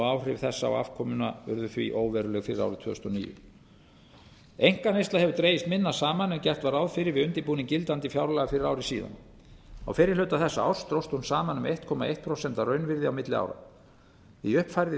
áhrif þessa á afkomuna urðu því óveruleg fyrir árið tvö þúsund og níu einkaneysla hefur dregist minna saman en gert var ráð fyrir við undirbúning gildandi fjárlaga fyrir ári á fyrri hluta þessa árs dróst hún saman um einn komma eitt prósent að raunvirði á milli ára í uppfærðri